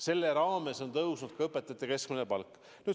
Selle raames on tõusnud ka õpetajate keskmine palk.